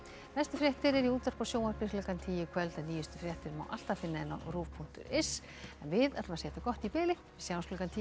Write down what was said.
næstu fréttir eru í útvarpi og sjónvarpi klukkan tíu í kvöld en nýjustu fréttir má alltaf finna á rúv punktur is en við segjum þetta gott í bili sjáumst klukkan tíu